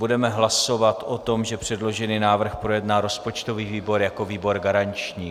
Budeme hlasovat o tom, že předložený návrh projedná rozpočtový výbor jako výbor garanční.